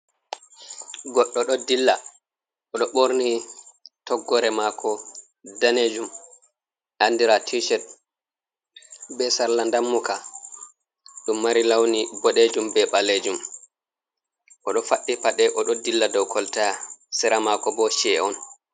Goɗɗo ɗo dilla, o ɗo ɓorni toggore mako danejum andira Tishet, be sarla dammuka ɗum mari launi boɗejum be ɓalejum, o ɗo faɗi paɗe o ɗo dilla dow kolta, sira mako bo che’e on.